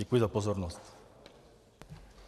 Děkuji za pozornost.